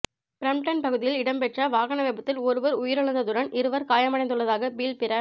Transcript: Brampton பகுதியில் இடம்பெற்ற வாகன விபத்தில் ஒருவர் உயிரிழந்ததுடன் இருவர் காயமடைந்துள்ளதாக பீல் பிர